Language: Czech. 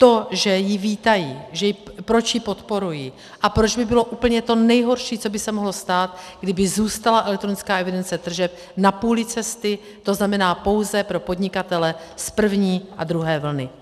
To, že ji vítají, proč ji podporují a proč by bylo úplně to nejhorší, co by se mohlo stát, kdyby zůstala elektronická evidence tržeb na půli cesty, to znamená pouze pro podnikatele z první a druhé vlny.